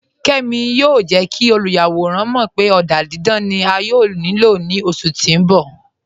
Kẹ́mi yóò jẹ́ kí olúyàwọ̀ràn mọ̀ pé ọ̀dà dídán ni à yóò ní ilò ní oṣù tí n bọ̀.